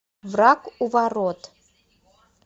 враг у ворот